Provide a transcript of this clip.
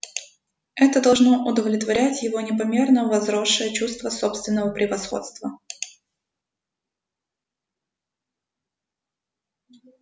это должно удовлетворять его непомерно возросшее чувство собственного превосходства